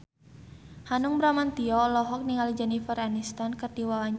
Hanung Bramantyo olohok ningali Jennifer Aniston keur diwawancara